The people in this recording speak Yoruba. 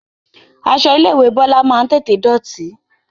Aṣọ ilé ìwé Bọlá máa ń tètè dọ̀tí